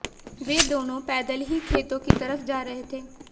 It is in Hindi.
वे दोनों पैदल ही खेतों की तरफ जा रहे थे